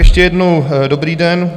Ještě jednou, dobrý den.